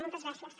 moltes gràcies